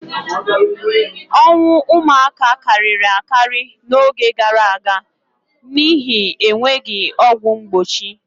Ọnwụ ụmụaka karịrị akarị n'oge gaara aga n'ihi enweghị ọgwụ mgbochi.